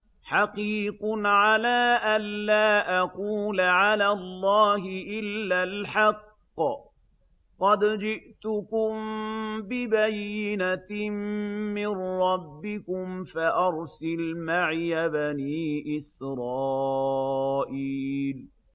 حَقِيقٌ عَلَىٰ أَن لَّا أَقُولَ عَلَى اللَّهِ إِلَّا الْحَقَّ ۚ قَدْ جِئْتُكُم بِبَيِّنَةٍ مِّن رَّبِّكُمْ فَأَرْسِلْ مَعِيَ بَنِي إِسْرَائِيلَ